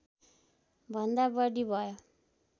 भन्दा बढी भयो